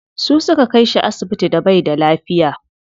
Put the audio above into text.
Su suka kai shi asibiti da baida lafiya.